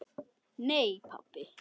Nei pabbi.